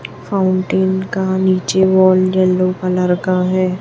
Fountain का नीचे wall yellow colour का है।